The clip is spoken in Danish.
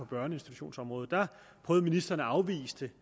børneinstitutionsområdet prøvede ministeren at afvise det